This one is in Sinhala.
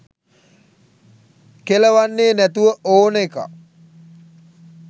කෙළවන්නේ නැතුව ඕන එකක්.